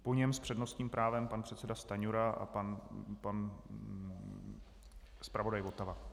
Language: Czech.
Po něm s přednostním právem pan předseda Stanjura a pan zpravodaj Votava.